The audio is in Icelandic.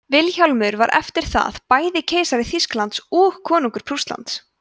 vilhjálmur var eftir það bæði keisari þýskalands og konungur prússlands